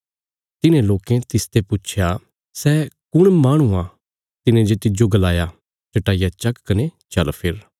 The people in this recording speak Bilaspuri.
तिन्हे लोकें तिसते पुच्छया सै कुण माहणु आ तिने जे तिज्जो गलाया चट्टाई चक्क कने चल फिर